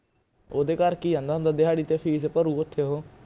ਓਹਦੇ ਕਰਕੇ ਹੀ ਆਨੇ ਦਿਹਾੜੀ ਤੇ fees ਭਰੂ ਕਿਥੇ ਉਹ